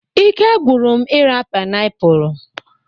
Ike gwụrụ m ira painiapulu